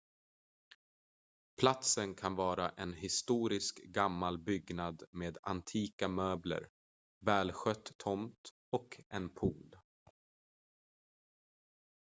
platsen kan vara en historisk gammal byggnad med antika möbler välskött tomt och en pool